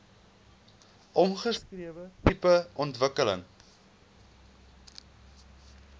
omskrewe tipe ontwikkeling